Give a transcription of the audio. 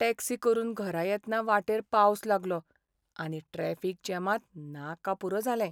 Taxi करून घरा येतना वाटेर पावस लागलो, आनी ट्रॅफीक जॅमांत नाका पुरो जालें.